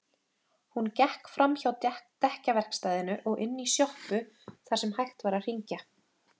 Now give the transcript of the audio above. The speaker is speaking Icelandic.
Hún gekk framhjá dekkjaverkstæðinu og inn í sjoppu þar sem hægt var að hringja.